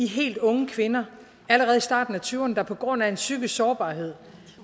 helt unge kvinder allerede i starten af tyverne der på grund af en psykisk sårbarhed